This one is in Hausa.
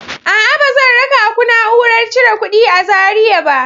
A'a, ba zan raka ku na'urar cire kuɗi a Zariya ba.